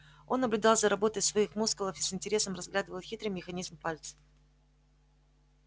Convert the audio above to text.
он наблюдал за работой своих мускулов и с интересом разглядывал хитрый механизм пальцев